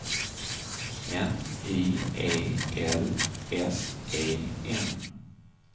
N I E L S E N